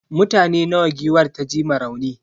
mutane nawa giwar ta ji ma rauni?